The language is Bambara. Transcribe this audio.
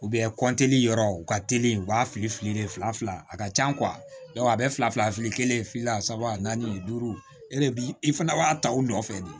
kɔntiniye yɔrɔ u ka teli u b'a fili fili fila a ka ca a bɛɛ fila fila kelen fila saba naani duuru e de bi i fana b'a ta u nɔfɛ de